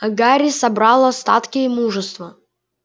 гарри собрал остатки мужества